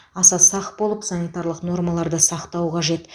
аса сақ болып санитарлық нормаларды сақтау қажет